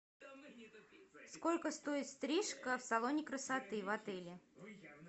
сколько стоит стрижка в салоне красоты в отеле